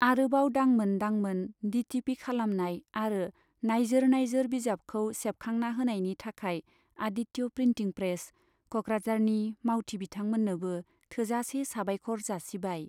आरोबाव दांमोन दांमोन डिटिपि खालामनाय आरो नाइजोर नाइजोर बिजाबखौ सेबखांना होनायनि थाखाय आदित्य प्रिन्टिं प्रेस , क'कराझारनि मावथि बिथांमोननोबो थोजासे साबायख'र जासिबाय।